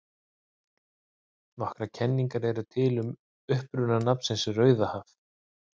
Nokkrar kenningar eru til um uppruna nafnsins Rauðahaf.